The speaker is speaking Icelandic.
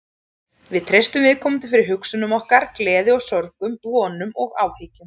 Við treystum viðkomandi fyrir hugsunum okkar, gleði og sorgum, vonum og áhyggjum.